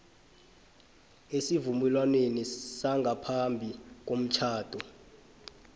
esivumelwaneni sangaphambi komtjhado